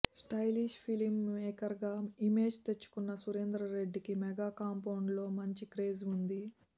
stylish film మేకర్గా image తెచ్చుకున్న సురేందర్రెడ్డికి మెగా కాంపౌండ్లో మంచి క్రేజ్ ఉంది